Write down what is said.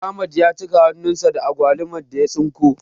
Ahmad ya cika hannun sa da agwalumar da ya tsinko